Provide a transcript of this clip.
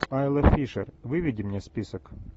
айла фишер выведи мне список